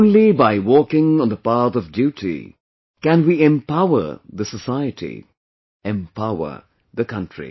Only by walking on the path of duty can we empower the society; empower the country